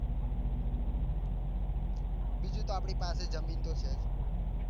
બીજું તો આપડી પાસે જમીન તો છે જ